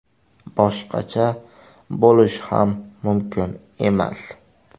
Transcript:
Boshqacha bo‘lishi ham mumkin emas!